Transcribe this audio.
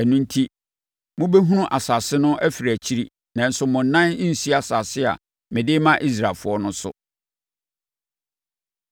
Ɛno enti, mobɛhunu asase no afiri akyiri, nanso mo nan rensi asase a mede rema Israelfoɔ no so.”